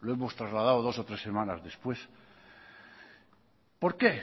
lo hemos trasladado dos o tres semanas después por qué